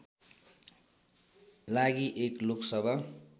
लागि एक लोकसभा